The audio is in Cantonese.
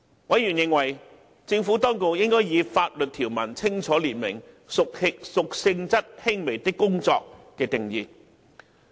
委員認為，政府當局應以法律條文清楚列明"屬性質輕微的工作"的定義。